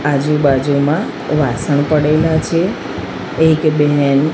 આજુ બાજુમાં વાસણ પડેલા છે એક બેન--